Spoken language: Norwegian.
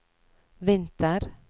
vinter